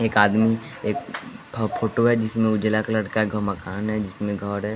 एक आदमी एक फोटो है जिसमें उजला कलर का एक मकान है जिसमें --